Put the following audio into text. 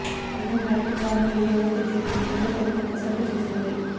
దేశంలో ఎలక్ట్రిక్ వాహనాల వినియోగం పెంచేందుకు కేంద్ర ప్రభుత్వం కసరత్తు చేస్తోంది